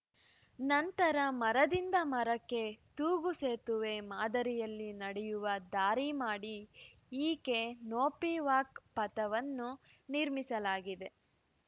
ನಂತರ ಮರದಿಂದ ಮರಕ್ಕೆ ತೂಗು ಸೇತುವೆ ಮಾದರಿಯಲ್ಲಿ ನಡೆಯುವ ದಾರಿ ಮಾಡಿ ಈಕೆ ನೋಪಿ ವಾಕ್‌ ಪಥವನ್ನು ನಿರ್ಮಿಸಲಾಗಿದೆ